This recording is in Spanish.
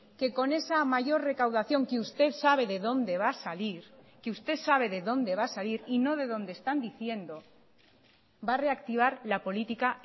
que con esa mayor recaudación que usted sabe de dónde va a salir que usted sabe de dónde va a salir y no de donde están diciendo va a reactivar la política